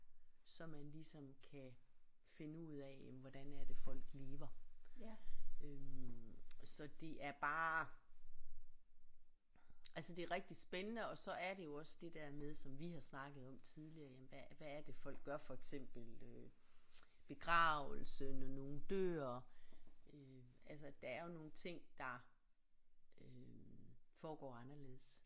Så man ligesom kan finde ud af jamen hvordan er det folk lever øh så det er bare altså det er rigtig spændende og så er det jo også det der med som vi har snakket om tidligere jamen hvad hvad er det folk gør for eksempel begravelse når folk dør øh altså der er jo nogle ting der øh foregår anderledes